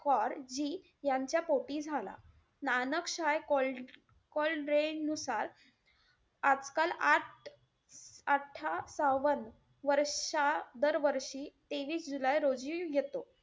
कौर जी यांच्या पोटी झाला. नानक साय नुसार आजकाल आठ अट्ठा~ सावन वर्षा~ दरवर्षी तेवीस जुलै रोजी येतो.